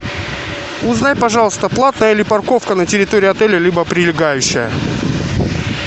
узнай пожалуйста платная ли парковка на территории отеля либо прилегающая